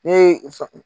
Ne ye